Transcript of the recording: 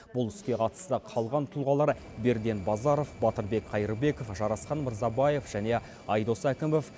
бұл іске қатысты қалған тұлғалар берден базаров батырбек қайырбеков жарасхан мырзабаев және айдос әкімов